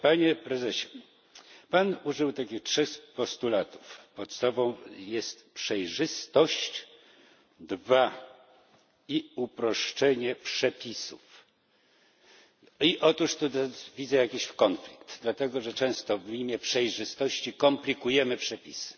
Panie prezesie, pan użył takich trzech postulatów podstawą jest przejrzystość i uproszczenie przepisów. Otóż tutaj widzę jakiś konflikt, dlatego że często w imię przejrzystości komplikujemy przepisy.